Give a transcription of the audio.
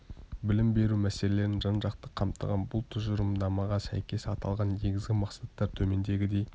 білім беру мәселелерін жан-жақты қамтыған бұл тұжырымдамаға сәйкес аталған негізгі мақсаттар төмендегідей